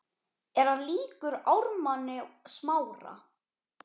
Er hann líkur Ármanni Smára?